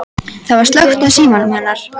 Það var slökkt á símanum hennar.